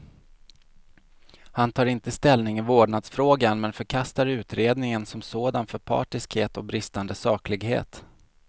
Han tar inte ställning i vårdnadsfrågan, men förkastar utredningen som sådan för partiskhet och bristande saklighet.